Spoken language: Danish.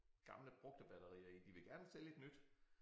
Gamle brugte batterier i de ville gerne sælge et nyt